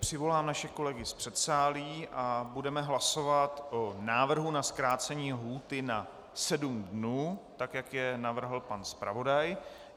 Přivolám naše kolegy z předsálí a budeme hlasovat o návrhu na zkrácení lhůty na sedm dnů, tak jak je navrhl pan zpravodaj.